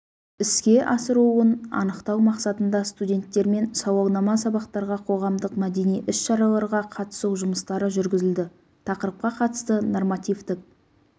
іске асырылуын анықтау мақсатында студенттермен сауалнама сабақтарға қоғамдық-мәдени іс-шараларға қатысу жұмыстары жүргізілді тақырыпқа қатысты нормативтік